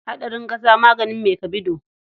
Hadarin ƙasa maganin mai kabido.